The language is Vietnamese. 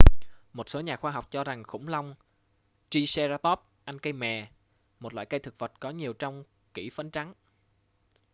một số nhà khoa học cho rằng khủng long triceratop ăn cây mè một loại thực vật có rất nhiều trong kỷ phấn trắng